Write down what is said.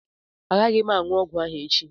Agaghị m aṅụ ọgwụ ahụ echi